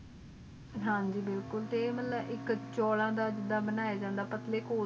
ਹਨ ਜੀ ਬਿਲਕੁਲ ਤੇ ਮਤਲਬ ਇਕ ਚੋਲਾ ਦਾ ਜਿਡਾ ਬਨਾਯਾ ਜਾਂਦਾ